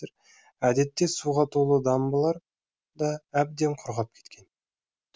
әдетте суға толы дамбалар да әбден құрғап кеткен